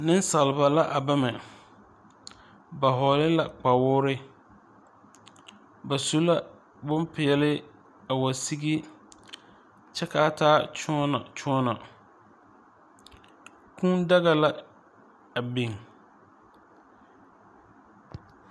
Neŋsalba la a bama ba hɔɔle la kpawoore ba su la bonpeɛle a wa sige kyɛ kaa taa kyõɔnɔkyõɔnɔ kūū daga la a biŋ.